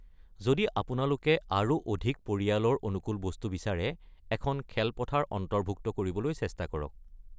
যদি আপোনালোকে আৰু অধিক পৰিয়ালৰ অনুকুল বস্তু বিচাৰে, এখন খেলপথাৰ অন্তৰ্ভুক্ত কৰিবলৈ চেষ্টা কৰক।